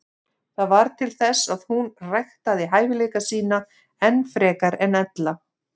Það varð til þess að hún ræktaði hæfileika sína enn frekar en ella.